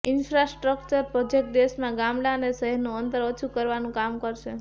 infrastructure project દેશમાં ગામડાં અને શહેરોનું અંતર ઓછું કરવાનું કામ કરશે